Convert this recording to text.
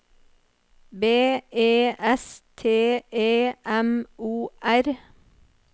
B E S T E M O R